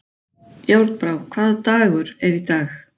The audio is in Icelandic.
Járnbrá, hvaða dagur er í dag?